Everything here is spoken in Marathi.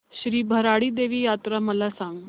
श्री भराडी देवी यात्रा मला सांग